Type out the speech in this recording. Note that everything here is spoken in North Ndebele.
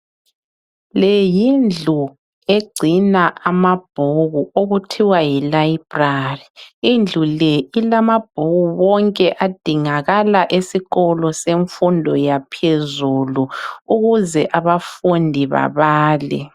Le yindlu egcina amabhuku okuthiwa yilibrary. Indlu le ilamabhuku wonke adingakala esikolo semfundo yaphezulu ukuze abafundi babale.